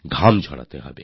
ঘাম ঝরাতে হবে